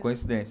Coincidência.